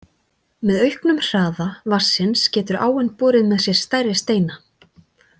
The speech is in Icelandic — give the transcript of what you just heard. Með auknum hraða vatnsins getur áin borið með sér stærri steina.